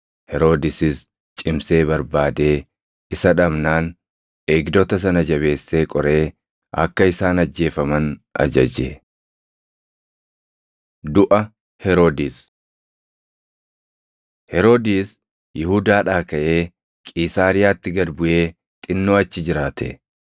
Heroodisis cimsee barbaadee isa dhabnaan eegdota sana jabeessee qoree akka isaan ajjeefaman ajaje. Duʼa Heroodis Heroodis Yihuudaadhaa kaʼee Qiisaariyaatti gad buʼee xinnoo achi jiraate.